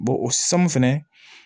o sanu fɛnɛ